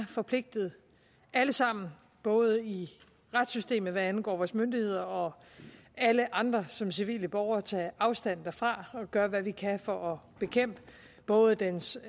forpligtede alle sammen både i retssystemet hvad angår vores myndigheder og alle andre som civile borgere til at afstand fra og gøre hvad vi kan for at bekæmpe både dens